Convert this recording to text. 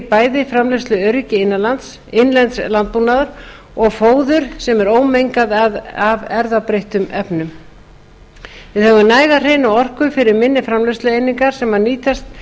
bæði framleiðsluöryggi innlends landbúnaðar og fóður sem er ómengað af erfðabreyttum efnum við höfum næga hreina orku fyrir minni framleiðslueiningar sem nýtast